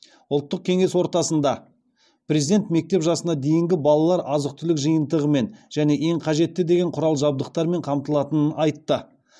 ұлттық кеңес ортасында президент мектеп жасына дейінгі балалар азық түлік жиынтығымен және ең қажетті деген құрал жабдықтармен қамтылатынын айтты